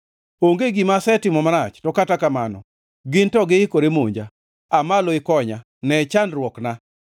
Onge gima asetimo marach, to kata kamano gin to giikore monja. Aa malo ikonya; ne chandruokna.